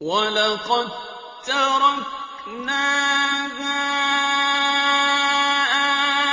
وَلَقَد تَّرَكْنَاهَا